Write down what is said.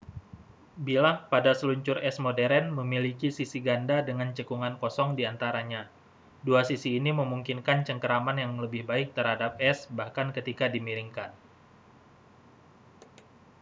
bilah pada seluncur es modern memiliki sisi ganda dengan cekungan kosong diantaranya dua sisi ini memungkinkan cengkeraman yang lebih baik terhadap es bahkan ketika dimiringkan